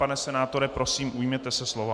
Pane senátore, prosím, ujměte se slova.